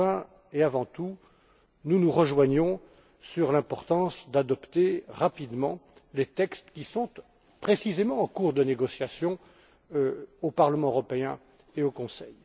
Enfin et avant tout, nous nous rejoignons sur l'importance d'adopter rapidement les textes qui sont précisément en cours de négociation au Parlement européen et au Conseil.